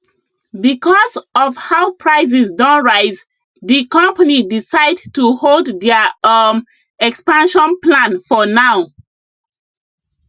because of how prices don rise the company decide to hold their um expansion plan for now